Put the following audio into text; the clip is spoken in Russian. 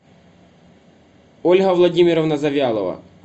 ольга владимировна завьялова